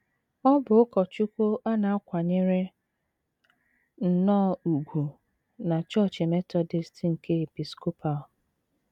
Ọ bụ ụkọchukwu a na - akwanyere nnọọ ùgwù na Chọọchị Metọdist nke Episcopal.